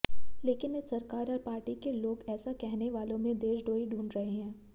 लेकिन इस सरकार और पार्टी के लोग ऐसा कहने वालों में देशद्रोही ढूंढ रहे हैं